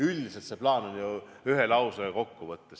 Üldiselt see plaan on ju ühe lausega kokku võetav.